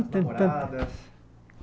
Estou tentando As namoradas.